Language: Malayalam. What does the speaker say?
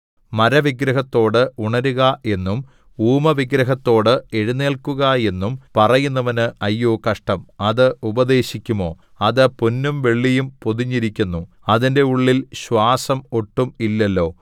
മരവിഗ്രഹത്തോട് ഉണരുക എന്നും ഊമവിഗ്രഹത്തോട് എഴുന്നേൽക്കുക എന്നും പറയുന്നവന് അയ്യോ കഷ്ടം അത് ഉപദേശിക്കുമോ അത് പൊന്നും വെള്ളിയും പൊതിഞ്ഞിരിക്കുന്നു അതിന്റെ ഉള്ളിൽ ശ്വാസം ഒട്ടും ഇല്ലല്ലോ